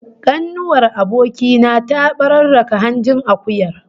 Kanuwar aboki na ta bararraka hanjin akuyar